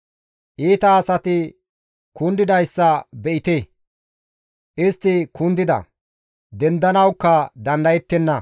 Iita asati kundidayssa be7ite; istti kundida; dendanawukka dandayettenna.